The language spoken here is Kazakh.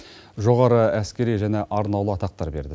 жоғары әскери және арнаулы атақтар берілді